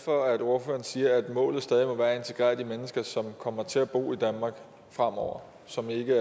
for at ordføreren siger at målet stadig må være at integrere de mennesker som kommer til at bo i danmark fremover som ikke